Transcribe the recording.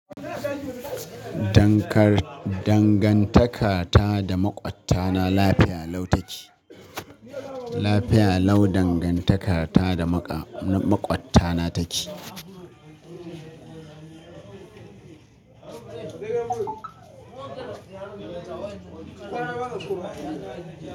Dangantakata da maƙwabtana lafiya lau take. Lafiya lau dangantakata da maƙwabtana take.